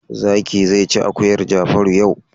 Zaki zai ci akuyar Jafaru yau.